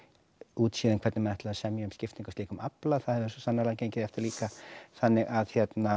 útséð um það hvernig menn ætluðu að semja um skiptingu á slíkum afla það hefur svo sannarlega gengið eftir líka þannig að